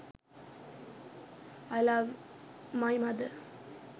i love my mother